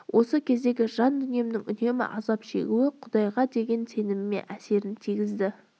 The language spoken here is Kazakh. осы кездердегі жан дүниемнің үнемі азап шегуі құдайға деген сеніміме әсерін тигізді